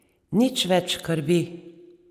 Nič več krvi.